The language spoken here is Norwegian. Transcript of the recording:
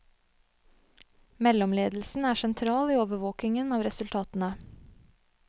Mellomledelsen er sentral i overvåkingen av resultatene.